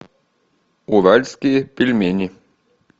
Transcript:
уральские пельмени